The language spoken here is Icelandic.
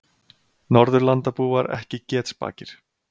Norðurlandabúar ekki getspakir